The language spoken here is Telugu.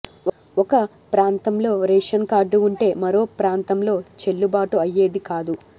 ఒక ప్రాంతంలో రేషన్ కార్డు వుంటే మరో ప్రాంతంలో చెల్లుబాటు అయ్యేది కాదు